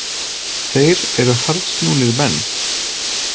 Þeir eru harðsnúnir menn.